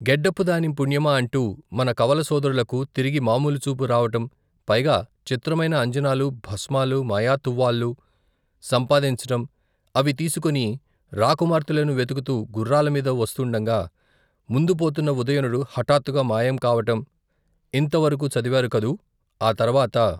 గెడ్డపుదాని పుణ్యమా అంటూ మన కవలసోదరులకు తిరిగి మాములు చూపు రావటం పైగా చిత్రమైన అంజనాలూ భస్మాలూ మాయాతువ్వాలు సంపాదించటం అవి తీసుకుని రాకుమార్తెలను వెతుకుతూ గుఱ్ఱాలమీద వస్తుండగా ముందు పోతున్న ఉదయనుడు హఠాత్తుగా మాయం కావటం ఇంత వరకు చదివారు కదూ ఆ తర్వాత.